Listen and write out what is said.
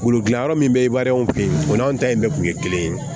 Bolodili yɔrɔ min bɛ e b'a ye anw fɛ yen o n'an ta in bɛɛ kun ye kelen ye